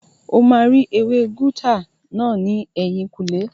O máa rí ewé gáútà náà ní ẹ̀yìnkùlé